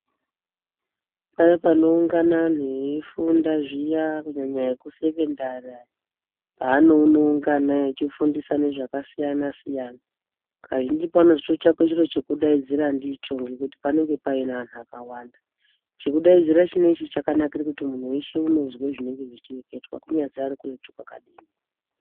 Paya panoungana anhu eyifunda zviya kunyanya ekusekondari aya anoone unga ana echifundisane zvakasiyanasiyana. Kazhinji panotozototsvakwe chiro chekudaidzira ndicho ngekuti panenge paine anhu akawanda. Chekudaidzira chineichi chakanakire kuti munhu wese unozwe zvinenge zvechireketwa kunyazi ari kuretu kwakadinini.